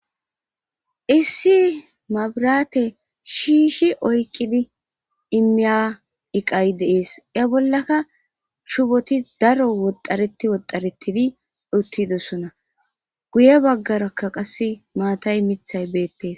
Issi mabiraate shiishi oykqidi immiya iqay deees ya bollaka shuboti daro woxxareti woxaretidi uttidosona guye baggarakka qasse maatay mithay beettees.